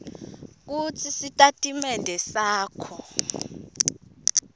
kutsi sitatimende sakho